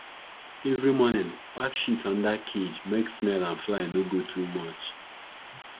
every morning pack shit under cage make smell and fly no go too much